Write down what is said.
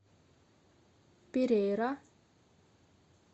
перейра